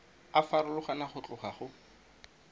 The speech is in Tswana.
a farologana go tloga go